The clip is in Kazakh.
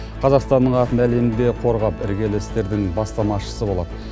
қазақстанның атын әлемде қорғап іргелі істердің бастамашысы болады